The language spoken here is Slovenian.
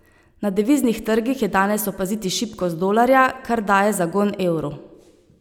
Na deviznih trgih je danes opaziti šibkost dolarja, kar daje zagon evru.